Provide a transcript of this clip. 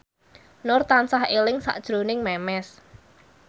Nur tansah eling sakjroning Memes